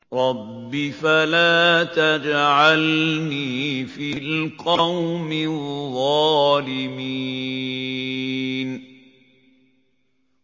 رَبِّ فَلَا تَجْعَلْنِي فِي الْقَوْمِ الظَّالِمِينَ